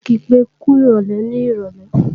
N ò kí pé kúròlè ní ìrọ̀lé